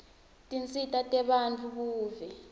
tinsita tebantfu buve